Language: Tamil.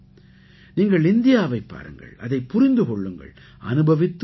நீங்கள் இந்தியாவைப் பாருங்கள் அதைப் புரிந்து கொள்ளுங்கள் அனுபவித்து உணருங்கள்